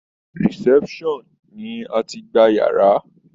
Reception ni a tií gba yàrá.